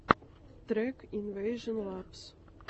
трек инвэйжон лабс